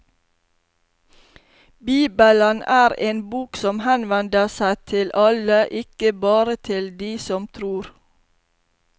Bibelen er en bok som henvender seg til alle, ikke bare til de som tror.